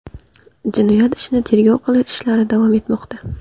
Jinoyat ishini tergov qilish ishlari davom etmoqda.